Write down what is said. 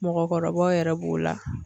Mɔgɔkɔrɔbaw yɛrɛ b'o la.